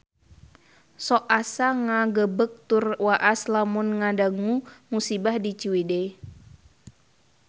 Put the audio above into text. Sok asa ngagebeg tur waas lamun ngadangu musibah di Ciwidey